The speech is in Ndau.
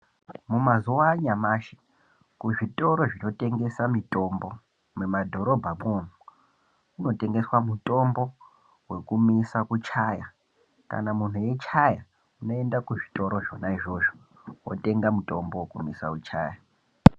Mumazuva anyamashi kuzvitoro zvinotengesa mitombo mumabhorobha mwo , munotengeswa mitombo wekumisa kuchaya kana munhu eichaya unoenda kuzvitoro zvona izvozvo wotenga mutombo unomisa kutyaya